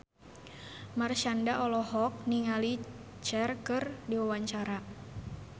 Marshanda olohok ningali Cher keur diwawancara